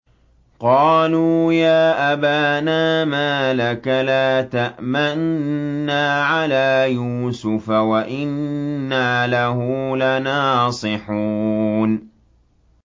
قَالُوا يَا أَبَانَا مَا لَكَ لَا تَأْمَنَّا عَلَىٰ يُوسُفَ وَإِنَّا لَهُ لَنَاصِحُونَ